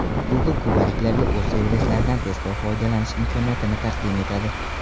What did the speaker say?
Google kubaliklarga o‘z servislaridan tezkor foydalanish imkoniyatini taqdim etadi.